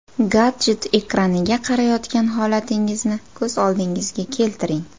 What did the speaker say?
Gadjet ekraniga qarayotgan holatingizni ko‘z oldingizga keltiring.